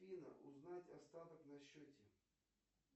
афина узнать остаток на счете